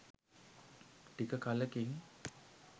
ටික කලකින්